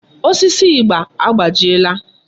Osisi ịgba agbajiela.